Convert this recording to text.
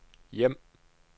hjem